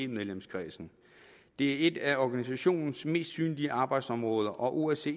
medlemskredsen det er et af organisationens mest synlige arbejdsområder og osce